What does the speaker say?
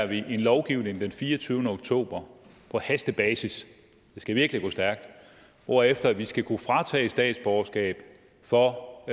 vi en lovgivning den fireogtyvende oktober på hastebasis det skal virkelig gå stærkt hvorefter vi skal kunne fratage statsborgerskab for